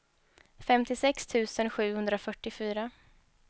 femtiosex tusen sjuhundrafyrtiofyra